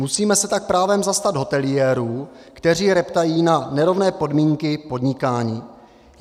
Musíme se tak právem zastat hoteliérů, kteří reptají na nerovné podmínky podnikání.